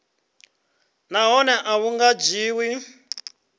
nahone a hu nga dzhiwi